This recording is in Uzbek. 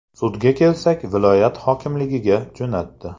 Sudga kelsak, viloyat hokimligiga jo‘natdi”.